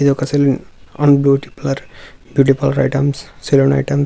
ఇది ఒక salon and beauty parlour beauty parlour items salon items --